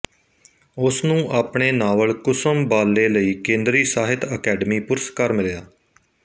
ਉਸਨੂੰ ਆਪਣੇ ਨਾਵਲ ਕੁਸੁਮ ਬਾਲੇ ਲਈ ਕੇਂਦਰੀ ਸਾਹਿਤ ਅਕੈਡਮੀ ਪੁਰਸਕਾਰ ਮਿਲਿਆ